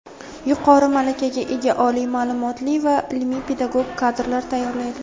yuqori malakaga ega oliy maʼlumotli va ilmiy-pedagog kadrlar tayyorlaydi.